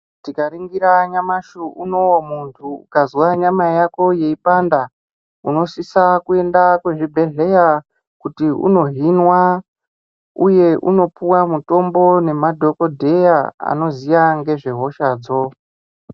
Tikaringira nyamashi unowu muntu ukazwa nyama yako yeipanda unosisa kuenda kuchibhedhleya kuti unohinwa. Uye unopuwa mutombo nemadhokodheya anoziya ngezvehosha dzo.